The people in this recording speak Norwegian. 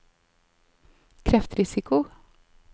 kreftrisiko